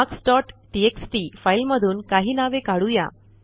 marks dot TXT फाईलमधून काही नावे काढू या